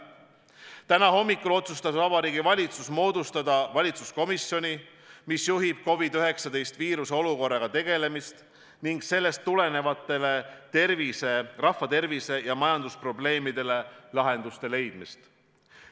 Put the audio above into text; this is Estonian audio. Täna hommikul otsustas Vabariigi Valitsus moodustada valitsuskomisjoni, mis juhib COVID-19 viirusest põhjustatud olukorraga tegelemist ja sellest tulenevatele rahva tervise ja majandusprobleemidele lahenduste otsimist.